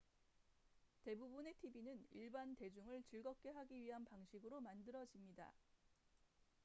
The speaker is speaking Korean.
대부분의 tv는 일반 대중을 즐겁게 하기 위한 방식으로 만들어집니다